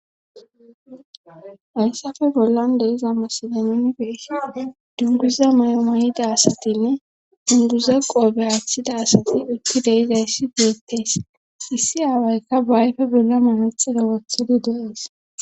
Hayssappe bollan de'iza misiley nuni be'ishshin dunguza may'o may'ida asatinne dunguza qoope woththida asati deizayssi beettees issi awaykka baa ayfe bolla manaxire wothidi de'ees